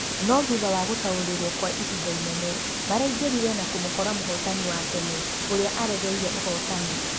No thutha wa gutaũrirwo kwa ihinda inene, maraingĩrire na kũmũkora mũhotani wa tene ũria aregeire ũhotani.